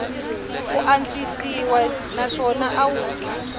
ku antswisiwa naswona a wu